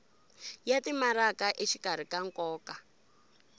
ya timaraka exikarhi ka nkoka